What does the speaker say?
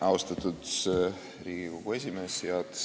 Austatud Riigikogu esimees!